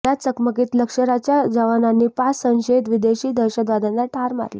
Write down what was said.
या चकमकीत लष्कराच्या जवानांनी पाच संशयित विदेशी दहशतवाद्यांना ठार मारले